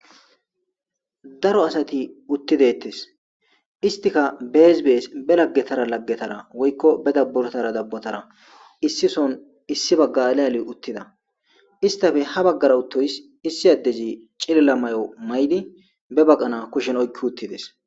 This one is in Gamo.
Daro asati utti deetes. Istika bees bees be lagetara lagetara woyko ba dabotara issison ba baga baga allidi uttida. Istappe ha bagara uttoys issi addezi ba baqana ba kushezara oykidi uttides.